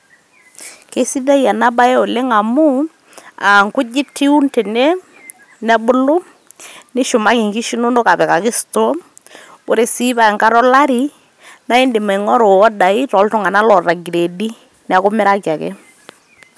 Kisidai ena bae oleng' amu inkujit iun tene, nebulu nishumaki nkishu inonok apikaki store. Ore sii paa enkata olari naa indim aing'oru iodai tooltung'anak oota ingreedi neeku imiraki ake.